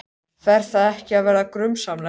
Fer það ekki að verða grunsamlegt?